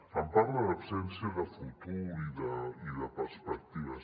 em parla d’absència de futur i de perspectives